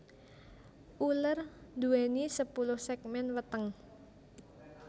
Uler nduwèni sepuluh ségmén weteng